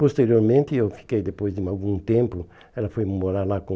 Posteriormente, eu fiquei depois de algum tempo, ela foi morar lá com...